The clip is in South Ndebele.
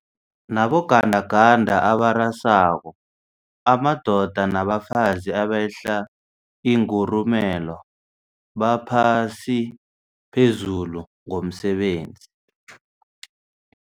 nabogandaganda abarasako, amadoda nabafazi abehla ingurumela baphasi phezulu ngomsebenzi.